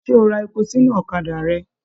Ṣe o ra èpò sínú ọ̀kàdà rẹ?